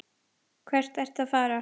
Hvert ertu að fara?